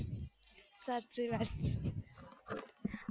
સાચી વાત છે